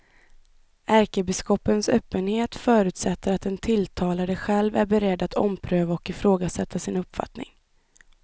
Ärkebiskopens öppenhet förutsätter att den tilltalade själv är beredd att ompröva och ifrågasätta sin uppfattning.